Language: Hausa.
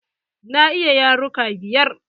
Na iya yaruka biyar.